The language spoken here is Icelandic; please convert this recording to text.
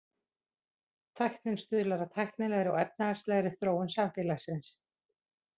Tæknin stuðlar að tæknilegri og efnahagslegri þróun samfélagsins.